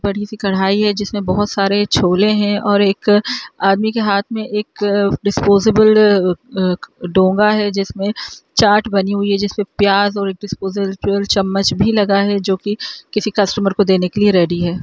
बड़ी सी कढ़ाई है जिसमें बहूत सारे छोले हैं और एक आदमी के हाथ मे एक अ डिसपोसेबल अ डोंगा है जिसमें चाट बनी हुई है जिसमें प्याज और डिसपोसेबल चम्मच भी लगा है जोकि किसी कस्टमर को देने की लिए रेडी है।